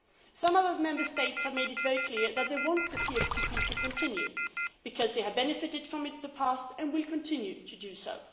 Some of our Member States have made it very clear that they want the TFTP to continue because they have benefited from it in the past and will continue to do so.